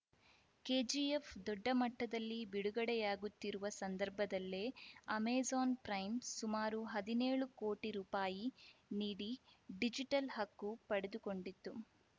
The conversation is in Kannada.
ಕೆಜಿಎಫ್‌ ದೊಡ್ಡ ಮಟ್ಟದಲ್ಲಿ ಬಿಡುಗಡೆಯಾಗುತ್ತಿರುವ ಸಂದರ್ಭದಲ್ಲೇ ಅಮೆಜಾನ್‌ ಪ್ರೈಮ್‌ ಸುಮಾರು ಹದಿನೇಳು ಕೋಟಿ ರುಪಾಯಿ ನೀಡಿ ಡಿಜಿಟಲ್‌ ಹಕ್ಕು ಪಡೆದುಕೊಂಡಿತ್ತು